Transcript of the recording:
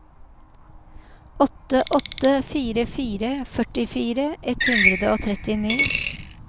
åtte åtte fire fire førtifire ett hundre og trettini